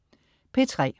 P3: